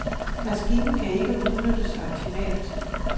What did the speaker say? Maskinen kan ikke udnyttes optimalt.